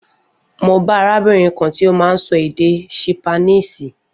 Mo bá arábìnrin kan tí ó má n sọ èdè ṣípánísì